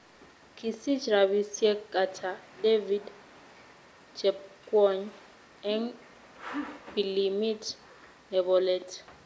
Kisich rabisiek ata david chepkwony eng' pilimit nebolet